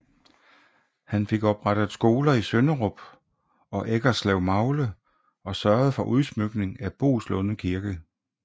Han fik oprettet skoler i Sønderup og Eggeslevmagle og sørgede for udsmykning af Boeslunde Kirke